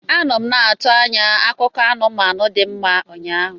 Anọ m na-atụ anya akụkọ anụmanụ dị mma ụnyaahụ.